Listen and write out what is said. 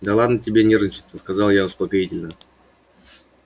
да ладно тебе нервничать-то сказала я успокоительно